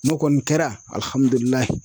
N'o kɔni kɛra